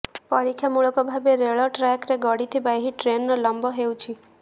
ପରୀକ୍ଷାମୂଳକ ଭାବେ ରେଳ ଟ୍ରାକରେ ଗଡ଼ିଥିବା ଏହି ଟ୍ରେନର ଲମ୍ବ ହେଉଛି